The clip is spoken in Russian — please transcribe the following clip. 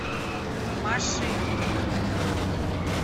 машины